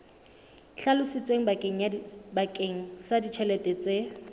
hlalositsweng bakeng sa ditjhelete tse